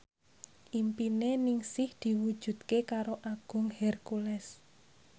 impine Ningsih diwujudke karo Agung Hercules